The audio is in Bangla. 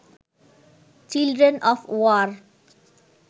children of war